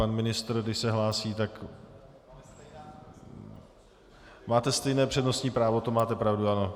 Pan ministr, když se hlásí, tak - máte stejné přednostní právo, to máte pravdu, ano.